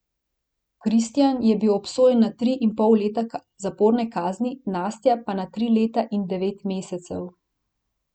Kristjan je bil obsojen na tri in pol leta zaporne kazni, Nastja pa na tri leta in devet mesecev.